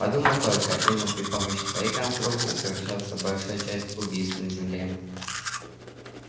подумать только именно при помощи твоей конструкции совершается большая часть убийств на земле